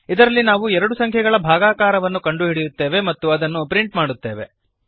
ಇದರಲ್ಲಿ ನಾವು ಎರಡು ಸಂಖ್ಯೆಗಳ ಭಾಗಾಕಾರವನ್ನು ಕಂಡುಹಿಡಿಯುತ್ತೇವೆ ಮತ್ತು ಅದನ್ನು ಪ್ರಿಂಟ್ ಮಾಡುತ್ತೇವೆ